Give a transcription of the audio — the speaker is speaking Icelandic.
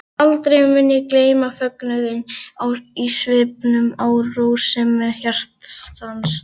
Aldrei mun ég gleyma fögnuðinum í svipnum og rósemi hjartans.